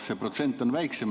See protsent on siis väiksem.